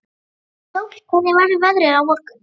Íssól, hvernig verður veðrið á morgun?